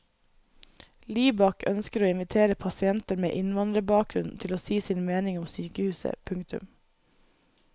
Libak ønsker å invitere pasienter med innvandrerbakgrunn til å si sin mening om sykehuset. punktum